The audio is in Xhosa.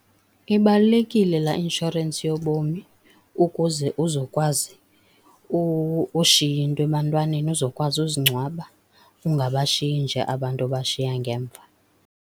Ibalulekile laa inshorensi yobomi ukuze uzokwazi ushiya into ebantwaneni, uzokwazi uzingcwaba, ungabashiyi nje abantu obashiya ngemva.